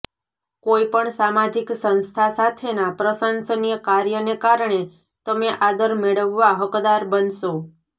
કોઈપણ સામાજિક સંસ્થા સાથેના પ્રશંસનીય કાર્યને કારણે તમે આદર મેળવવા હકદાર બનશો